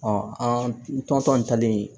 an tɔnsɔn talen